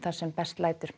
sem best lætur